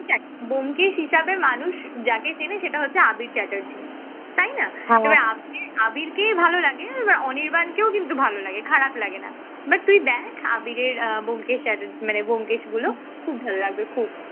ব্যোমকেশ হিসেবে মানুষ যাকে চেনে সেটা হচ্ছে আবির চ্যাটার্জী তাই না? আবির আবির কে ভালো লাগে তবে অনির্বাণকেও কিন্তু ভালো লাগে খারাপ লাগে না but তুই দেখ আবিরের আহ ব্যোমকেশ মানে ব্যোমকেশ গুলো খুব ভালো লাগবে খুব